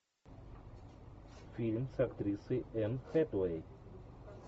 фильм с актрисой энн хэтэуэй